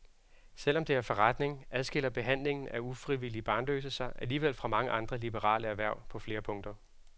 Selv om det er forretning, adskiller behandlingen af ufrivilligt barnløse sig alligevel fra mange andre liberale erhverv på flere punkter.